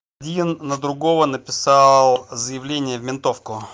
на другого написал заявление в ментовку